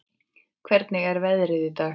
Hvernig er veðrið í dag?